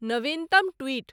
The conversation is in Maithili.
नवीनतम ट्वीट